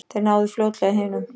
Þeir náðu fljótlega hinum.